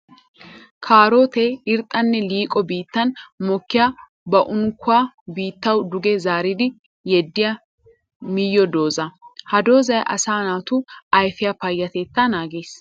Kaarotte irxxanne liiqo biittan mokkiya ba unkkuwa biittawu duge zaaridi yeddiya miyo dooza. Ha doozay asaa naatu ayfiya payatetta naages.